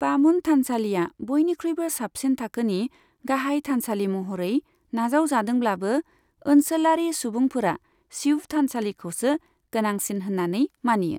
बामन थानसालिआ बयनिख्रुइबो साबसिन थाखोनि गाहाय थानसालि महरै नाजावजादोंब्लाबो, ओनसोलारि सुबुंफोरा शिव थानसालिखौसो गोनांसिन होननानै मानियो।